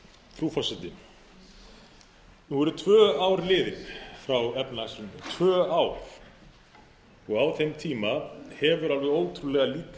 frú forseti nú eru tvö ár liðin frá efnahagshruninu tvö ár og á þeim tíma hefur alveg ótrúlega lítið